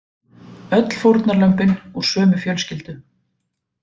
Öll fórnarlömbin úr sömu fjölskyldu